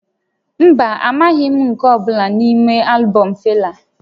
Mba, amaghị m nke ọ bụla n'ime albọm Fela